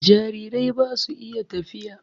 Jarirai ba su iya tafiya.